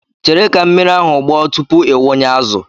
Chere ka mmiri ahụ gbọọ tupu ị wụnye azụ.